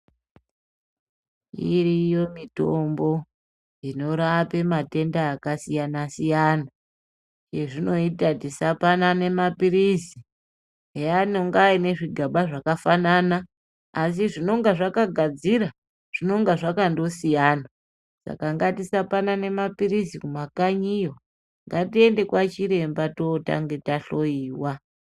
Iriyo mitombo inorape matenda akasiyana-siyana. Ezvinoyita tisapanane mapirisi eyanonga anezvigaba zvakafanana, asi zvinonga zvakagadzira, zvinonga zvakandosiyana, saka ngatisapanane mapirisi kumakanyiyo, ngatiende kwachiremba totange tahloyiwa.